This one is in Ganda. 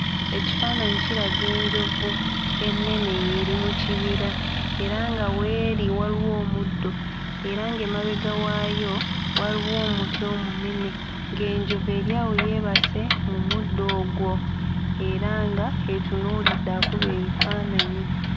Ekifaananyi kiraga enjovu ennene ng'eri mu kibira era nga w'eri waliwo omuddo era ng'emabega waayo waliwo omuti omunene ng'enjovu eri awo yeebase mu muddo ogwo era nga etunuulidde akuba ebifaananyi.